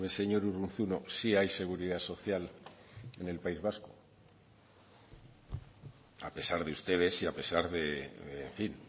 señor urruzuno sí hay seguridad social en el país vasco a pesar de ustedes y a pesar de en fin